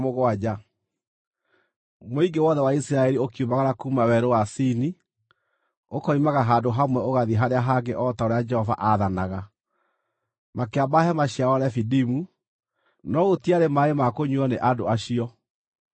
Mũingĩ wothe wa Isiraeli ũkiumagara kuuma Werũ wa Sini, ũkoimaga handũ hamwe ũgathiĩ harĩa hangĩ o ta ũrĩa Jehova aathanaga. Makĩamba hema ciao Refidimu, no gũtiarĩ maaĩ ma kũnyuuo nĩ andũ acio.